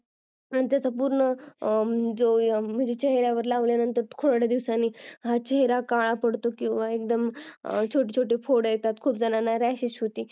आणि त्याचा पूर्ण चेहऱ्यावर लावल्याने थोड्या दिवसांनी चेहरा काळा पडतो किंवा एकदम छोटे छोटे फोड येतात खूप जणांना rashes होती